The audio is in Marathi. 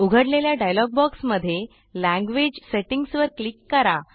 उघडलेल्या डायलॉग बॉक्समध्ये लँग्वेज Settingsवर क्लिक करा